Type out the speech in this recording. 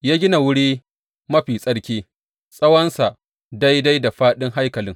Ya gina Wuri Mafi Tsarki, tsawonsa daidai da fāɗin haikalin.